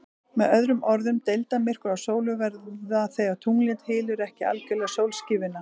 Með öðrum orðum, deildarmyrkvar á sólu verða þegar tunglið hylur ekki algjörlega sólskífuna.